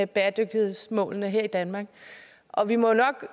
bæredygtighedsmålene her i danmark og vi må nok